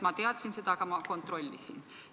Ma teadsin seda, aga ma kontrollisin.